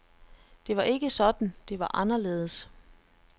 Det var ikke sådan, det var anderledes.